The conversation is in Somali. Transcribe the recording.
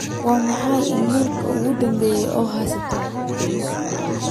waa maxay iimaylkii ugu dambeeyay ee aan haysto